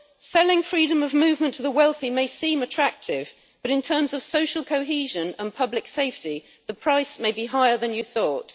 Selling freedom of movement to the wealthy may seem attractive, but in terms of social cohesion and public safety, the price may be higher than you thought.